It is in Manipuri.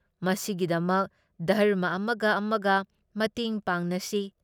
ꯃꯁꯤꯒꯤꯗꯃꯛ ꯙꯔꯝꯃ ꯑꯃꯒ ꯑꯃꯒ ꯃꯇꯦꯡ ꯄꯥꯡꯅꯁꯤ ꯫